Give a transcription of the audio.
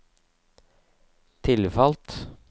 tilfalt